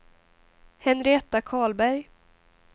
Henrietta Karlberg